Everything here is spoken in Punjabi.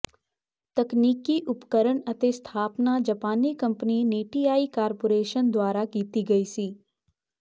ਤਕਨੀਕੀ ਉਪਕਰਨ ਅਤੇ ਸਥਾਪਨਾ ਜਾਪਾਨੀ ਕੰਪਨੀ ਨੇਟੀਆਈ ਕਾਰਪੋਰੇਸ਼ਨ ਦੁਆਰਾ ਕੀਤੀ ਗਈ ਸੀ